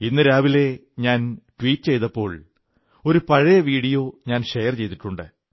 ഇന്നു രാവിലെ ഞാൻ ട്വീറ്റ് ചെയ്തപ്പോൾ ഒരു പഴയ വീഡിയോ ഞാൻ ഷെയർ ചെയ്തിട്ടുണ്ട്